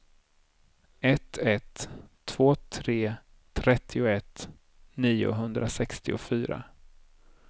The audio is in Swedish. ett ett två tre trettioett niohundrasextiofyra